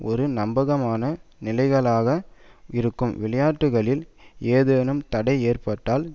ஒரு நம்பகமான நிலைகளனாக இருக்கும் விளையாட்டுகளில் ஏதேனும் தடை ஏற்பட்டால்